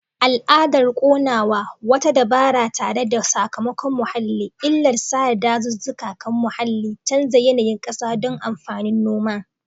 Al'adar ƙonawa, wata dabara tare da sakamakon muhalli. illar sare dazuzzuka kan muhalli, canza yanayin kasa don amfanin noma.